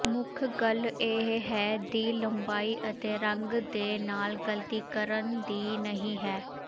ਮੁੱਖ ਗੱਲ ਇਹ ਹੈ ਦੀ ਲੰਬਾਈ ਅਤੇ ਰੰਗ ਦੇ ਨਾਲ ਗਲਤੀ ਕਰਨ ਦੀ ਨਹੀ ਹੈ